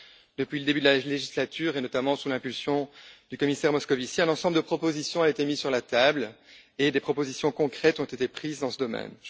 Depuis le début de la législature et, notamment sous l'impulsion du commissaire Moscovici, un ensemble de propositions a été mis sur la table et des mesures concrètes ont été adoptées dans ce domaine.